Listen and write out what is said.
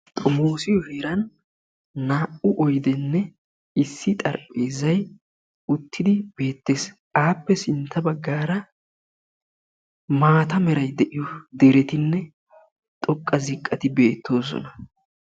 xommossiyo heeran naa"u oydenne issi xaraphezzay uttidi beettees; appe sintta baggara maata meray de'iyo deretinne xoqqa ziqqay beettoosona.